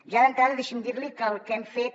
ja d’entrada deixi’m dir li que el que hem fet